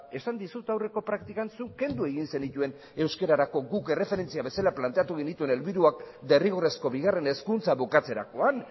esan dizut aurreko praktikan zuk kendu egin zenituen euskararako guk erreferentzia bezala planteatu genituen helburuak derrigorrezko bigarren hezkuntza bukatzerakoan